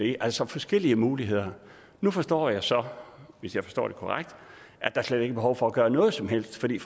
er altså forskellige muligheder nu forstår jeg så hvis jeg forstår det korrekt at der slet ikke er behov for at gøre noget som helst fordi